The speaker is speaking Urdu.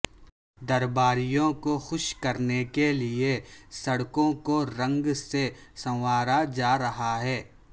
درباریوں کو خوش کرنے کیلئے سڑکوں کو رنگ سے سنوارا جارہا ہے